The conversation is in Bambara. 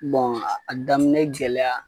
Bɔn a daminɛ gɛlɛya